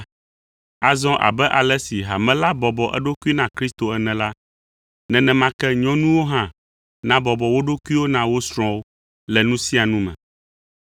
Azɔ abe ale si hame la bɔbɔ eɖokui na Kristo ene la, nenema ke nyɔnuwo hã nabɔbɔ wo ɖokuiwo na wo srɔ̃wo le nu sia nu me.